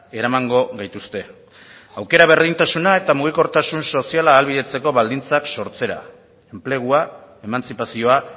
eramango gaituzte aukera berdintasuna eta mugikortasun soziala ahalbidetzeko baldintzak sortzera enplegua emantzipazioa